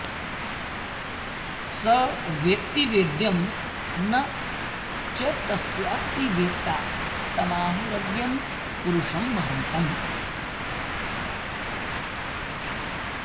स वेत्ति वेद्यं न च तस्यास्ति वेत्ता तमाहुरग्र्यं पुरुषं महान्तम्